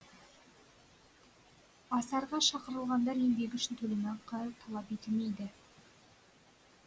асарға шақырылғандар еңбегі үшін төлемақы талап етілмейді